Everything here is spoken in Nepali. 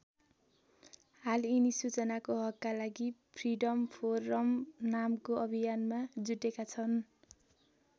हाल यिनी सूचनाको हकका लागि फ्रिडम फोरम नामको अभियानमा जुटेका छन्।